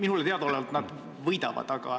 Minule teadaolevalt nad võidavad.